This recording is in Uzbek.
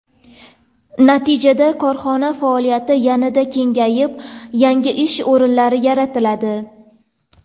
Natijada korxona faoliyati yanada kengayib, yangi ish o‘rinlari yaratiladi.